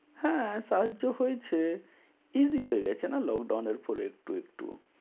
হ্যা, সাহায্য হয়েছে। easy হয়ে গেছে না lockdown এরপর একটু একটু।